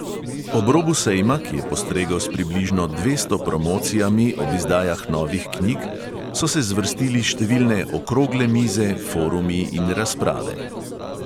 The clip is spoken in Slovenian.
Ob robu sejma, ki je postregel s približno dvesto promocijami ob izdajah novih knjig, so se zvrstili številne okrogle mize, forumi in razprave.